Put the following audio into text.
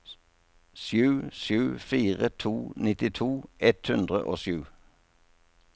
sju sju fire to nittito ett hundre og sju